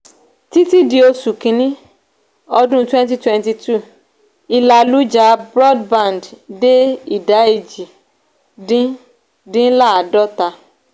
títí dí oṣù kìíní ọdún twenty twenty two ìlàlújá broadband dé idà èjì dín dín ladota.